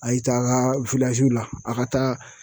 A y'i taa a ka la, a ka taa